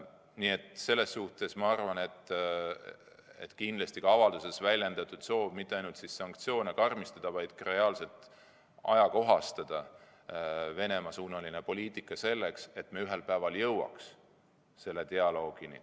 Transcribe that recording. Nii et selles suhtes ma arvan, et on kindlasti avalduses väljendatud soov mitte ainult sanktsioone karmistada, vaid ka reaalselt ajakohastada Venemaa-suunalist poliitikat, et me ühel päeval jõuaks dialoogini.